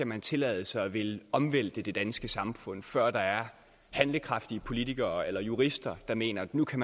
man tillade sig at ville omvælte det danske samfund før der er handlekraftige politikere eller jurister der mener at nu kan